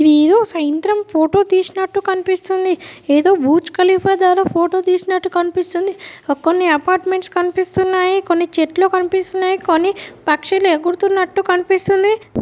ఇదేదో సాయంత్రం ఫోటో తీసినట్టు కనిపిస్తుంది ఏదో బుర్జ్ ఖలీఫా దార ఫోటో తిసినట్టు కనిపిస్తా ఉంది కొన్ని అపార్ట్మెంట్స్ కనిపిస్తున్నాయి కొన్ని చెట్లు కనిపిస్తున్నాయి కొన్ని పక్షులు ఎగురుతున్నట్టు కనిపిస్తుంది.